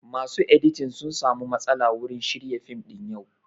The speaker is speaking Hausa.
Masu editing sun samu matsala wurin shirya fim ɗin yau